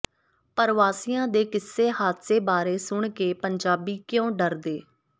ਪਰਵਾਸੀਆਂ ਦੇ ਕਿਸੇ ਹਾਦਸੇ ਬਾਰੇ ਸੁਣ ਕੇ ਪੰਜਾਬੀ ਕਿਉਂ ਡਰਦੇ